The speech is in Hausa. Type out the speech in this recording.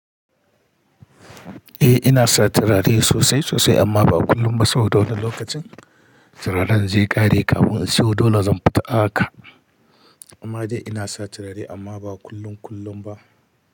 Eh ina sa turare sosai sosai amma ba a kullum ba saboda wani lokacin turaren zai ƙare kafin in siyo, dole zan fita haka. Amma dai ina sa turare amma ba kullum kullum ba.